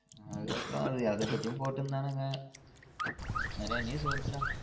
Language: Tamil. அதுக்கு அப்றம் அது அத பத்தியும் போட்ருந்தனுங்க நெறையா news வருது டா